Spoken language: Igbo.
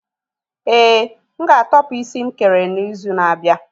Ee, m ga-atopu isi nkere n'izu na-abịa.